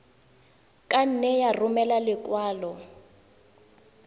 ka nne ya romela lekwalo